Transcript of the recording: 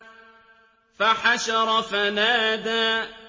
فَحَشَرَ فَنَادَىٰ